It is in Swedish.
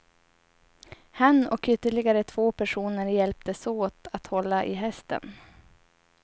Han och ytterligare två personer hjälptes åt att hålla i hästen.